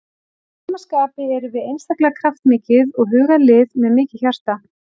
Að sama skapi erum við einstaklega kraftmikið og hugað lið með mikið hjarta.